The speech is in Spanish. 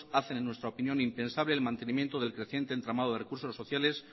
hacen en nuestra opinión impensable el mantenimiento del creciente entramado de recursos sociales